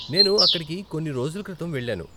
నేను అక్కడికి కొన్ని రోజుల క్రితం వెళ్ళాను.